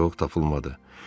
Yox, tapılmadı.